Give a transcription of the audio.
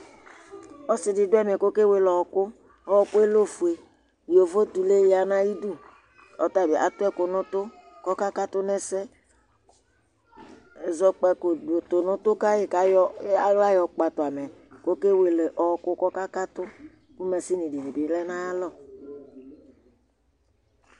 ɔsiɗiɗωɛmé kɔkɛwɛlé ɔokω ɔkωɛ lé ɔfωɛ ƴóvo ɖibiyɑ ɲɑyiɗω ɔtɑbiɑtuɛkω ɲωtω kɔkɑkɑtω ŋɛsé ɛzɔkpɑko ɛzɔkpɑko tωɲωtu kɑyï kɑyɔ ɑhlɑ yɔkpɑɖωɑmɛ ɔkɛwéle ɔokω ƙɔkɑkɑtω kωmɑchini ɗibilɛ ɲɑyɑlɔ